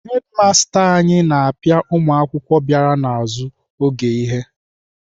Hedimasta anyị na-apịa ụmụakwụkwọ bịara n'azụ oge ihe.